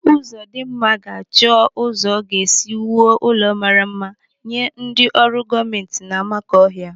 Uzodimma ga-achọ ụzọ ọ ga-esi wuo ụlọ mmara mma nye ndị ọrụ gọọmenti n'Amakọhia.